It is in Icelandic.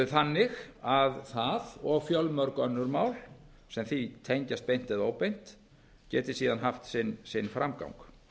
þannig að það og fjölmörg önnur mál sem því tengjast beint eða óbeint geti síðan haft sinn framgang